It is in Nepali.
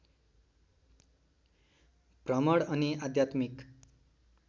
भ्रमण अनि आध्यात्मिक